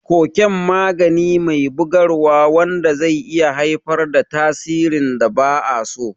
Koken magani me bugarwa wanda zai iya haifar da tasirin da ba a so.